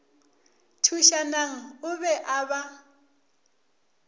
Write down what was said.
thušanang o be a ba